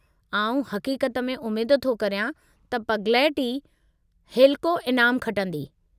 आऊं हक़ीक़त में उमेदु थो करियां त पगलैट ई हेलिको ईनामु खटंदी।